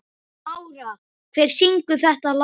Mára, hver syngur þetta lag?